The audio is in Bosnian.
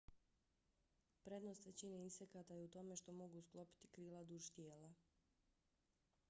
prednost većine insekata je u tome što mogu sklopiti krila duž tijela